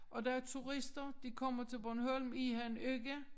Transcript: Og der er turister de kommer til Bornholm i en uge